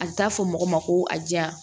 A bɛ taa fɔ mɔgɔ ma ko a diya